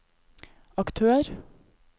aktør